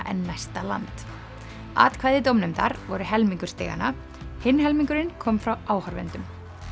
en næsta land atkvæði dómnefndar voru helmingur stiganna hinn helmingurinn kom frá áhorfendum